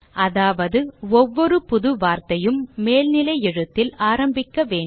அதாவது ஒவ்வொரு புது வார்த்தையும் மேல்நிலை எழுத்தில் ஆரம்பிக்க வேண்டும்